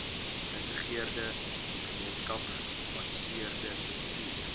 geïntegreerde gemeenskapsgebaseerde bestuur